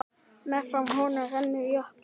Meðfram honum rennur jökulá.